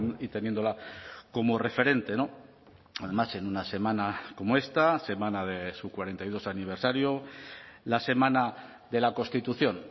y teniéndola como referente además en una semana como esta semana de su cuarenta y dos aniversario la semana de la constitución